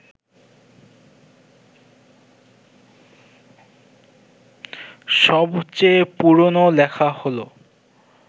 সবচেয়ে পুরনো লেখা হল